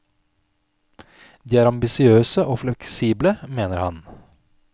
De er ambisiøse og fleksible, mener han.